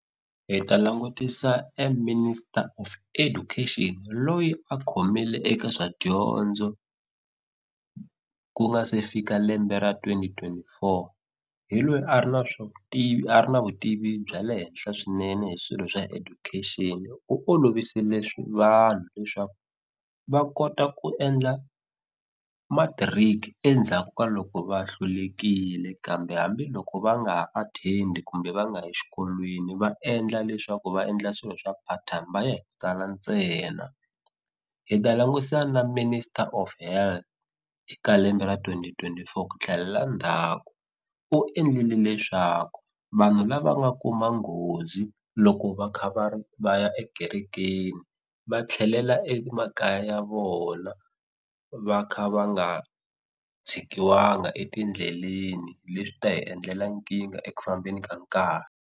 Hi ta langutisa e Minister of Education loyi a khomile eka swa dyondzo ku nga se fika lembe ra twenty twenty four hi lweyi a ri na swa vutivi a ri na vutivi bya le henhla swinene hi swilo swa education u olovisile vanhu leswaku va kota ku endla matric endzhaku ka loko va hlulekile kambe hambiloko va nga ha athendi kumbe va nga yi xikolweni va endla leswaku va endla swilo swa part time va ya hi ku tsala ntsena hi ta langusa na Minister of Health eka lembe ra twenty twenty four ku tlhelela ndzhaku u endlile leswaku vanhu lava nga kuma nghozi loko va kha va ri va ya ekerekeni va tlhelela emakaya ya vona va kha va nga tshikiwanga etindleleni leswi ta hi endlela nkingha eku fambeni ka nkarhi.